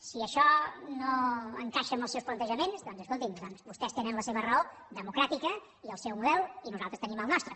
si això no encaixa amb els seus plantejaments doncs escolti’m vostès tenen la seva raó democràtica i el seu model i nosaltres tenim el nostre